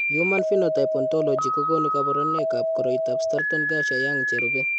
Human Phenotype Ontology kokonu kabarunoikab koriotoab Stratton Garcia Young cherube.